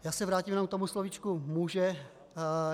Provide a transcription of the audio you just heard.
Já se vrátím jenom k tomu slovíčku může.